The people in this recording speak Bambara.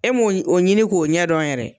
E mun o ɲini k'o ɲɛdɔn yɛrɛ.